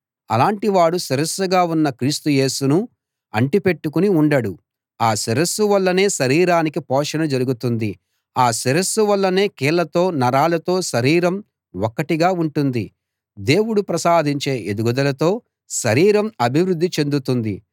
అలాంటి వాడు శిరస్సుగా ఉన్న క్రీస్తు యేసును అంటి పెట్టుకుని ఉండడు ఆ శిరస్సు వల్లనే శరీరానికి పోషణ జరుగుతుంది ఆ శిరస్సు వల్లనే కీళ్లతో నరాలతో శరీరం ఒక్కటిగా ఉంటుంది దేవుడు ప్రసాదించే ఎదుగుదలతో శరీరం అభివృద్ధి చెందుతుంది